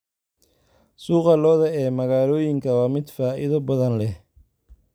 Suuqa lo'da ee magaalooyinka waa mid faa'iido badan leh.